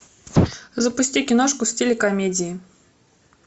запусти киношку в стиле комедии